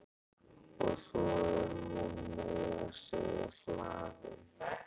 Og svo er hún meira að segja hlaðin.